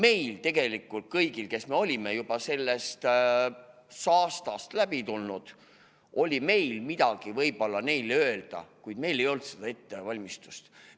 Ja meil kõigil, kes me olime juba sellest saastast läbi tulnud, oli neile võib-olla midagi öelda, kuid meil ei olnud seda ettevalmistust.